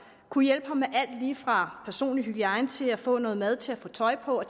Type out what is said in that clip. kunne hjælpe ham med alt lige fra personlig hygiejne til at få noget mad til at få tøj på og